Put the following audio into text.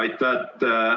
Aitäh!